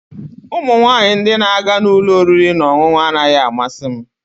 Ụmụ nwanyị ndị na-aga ụlọ oriri na ọṅụṅụ anaghị amasị m